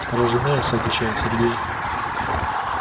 разумеется отвечает сергей